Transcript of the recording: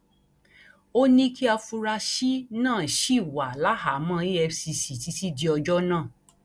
ó ní kí àfúráṣí náà ṣì wà láhàámọ efcc títí di ọjọ náà